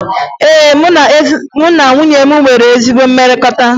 Ee, mụ na nwunye m nwere ezi mmekọrịta